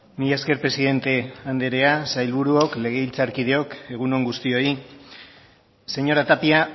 mila esker presidente andrea sailburuok legebiltzarkideok egunon guztioi señora tapia